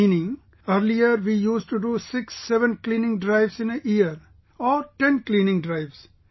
Meaning, earlier we used to do 67 cleaning drives in a year, or 10 cleaning drives